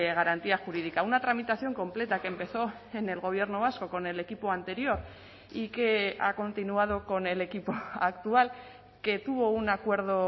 garantía jurídica una tramitación completa que empezó en el gobierno vasco con el equipo anterior y que ha continuado con el equipo actual que tuvo un acuerdo